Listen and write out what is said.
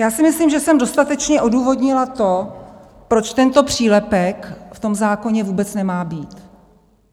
Já si myslím, že jsem dostatečně odůvodnila to, proč tento přílepek v tom zákoně vůbec nemá být.